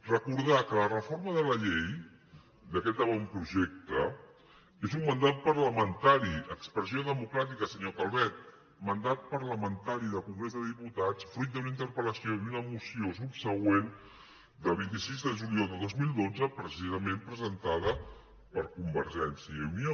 recordar que la reforma de la llei d’aquest avantprojecte és un mandat parlamentari expressió democràtica senyora calvet mandat parlamentari del congrés dels diputats fruit d’una interpel·lació i una moció subsegüent del vint sis de juliol de dos mil dotze precisament presentada per convergència i unió